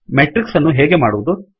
matrix ಅನ್ನು ಹೇಗೆ ಮಾಡುವುದು